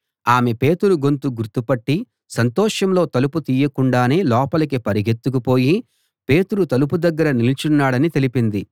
ఆమె పేతురు గొంతు గుర్తుపట్టి సంతోషంలో తలుపు తీయకుండానే లోపలికి పరుగెత్తుకు పోయి పేతురు తలుపు దగ్గర నిలుచున్నాడని తెలిపింది